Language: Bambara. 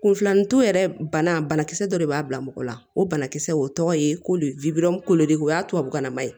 Kunfilanito yɛrɛ bana banakisɛ dɔ de b'a bila mɔgɔ la o banakisɛ o tɔgɔ ye ko de ko de o y'a tubabukan nama ye